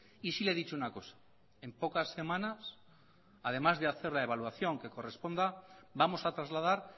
y sí le he dicho una cosa en pocas semanas además de hacer la evaluación que corresponda vamos a trasladar